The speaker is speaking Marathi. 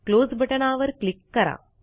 क्लोज बटणावर क्लिक करा